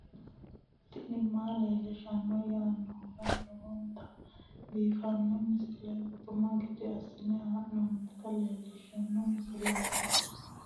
tini maa leelishshanno yaannohura lowonta biiffanota misile xuma gede assine haa'noonnita leellishshanno misileeti kaameru danchunni haa'noonni lamboe biiffe leeeltannoti beetu loosirinorichira xagicho gananni nooti leeltanni nooe